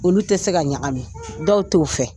Olu tɛ se ka ɲagami, dɔw t'o fɛ